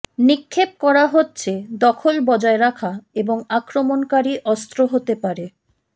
নিক্ষেপ করা হচ্ছে দখল বজায় রাখা এবং আক্রমণকারী অস্ত্র হতে পারে